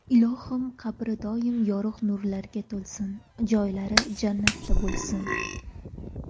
Ilohim, qabri doimo yorug‘ nurlarga to‘lsin, joylari jannatda bo‘lsin!